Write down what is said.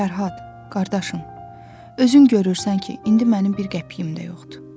Fərhad, qardaşım, özün görürsən ki, indi mənim bir qəpiyim də yoxdur.